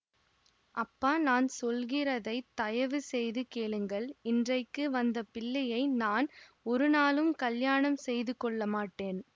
அப்பா நான் சொல்கிறதைத் தயவு செய்து கேளுங்கள் இன்றைக்கு வந்த பிள்ளையை நான் ஒருநாளும் கல்யாணம் செய்து கொள்ள மாட்டேன்